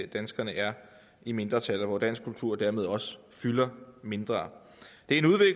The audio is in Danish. danskerne er i mindretal og hvor dansk kultur dermed også fylder mindre det